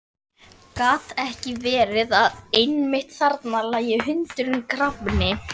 Gat ekki verið að einmitt þarna lægi hundurinn grafinn?